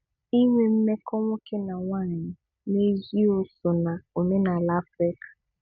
Inwe mmekọ nwoke na nwaanyị n'ezi o so na omenaala Afrịka?